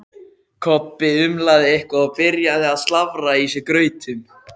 Kobbi umlaði eitthvað og byrjaði að slafra í sig grautinn.